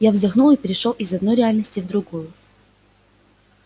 я вздохнул и перешёл из одной реальности в другую